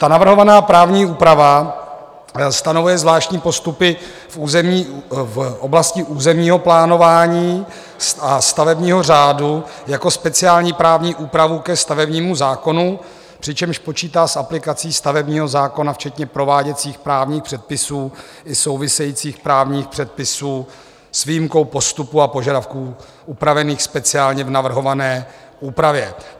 Ta navrhovaná právní úprava stanovuje zvláštní postupy v oblasti územního plánování a stavebního řádu jako speciální právní úpravu ke stavebnímu zákonu, přičemž počítá s aplikací stavebního zákona včetně prováděcích právních předpisů i souvisejících právních předpisů s výjimkou postupu a požadavků upravených speciálně v navrhované úpravě.